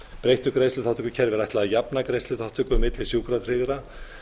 breyttu greiðsluþátttökukerfi er ætlað að jafna greiðsluþátttöku milli sjúkratryggðra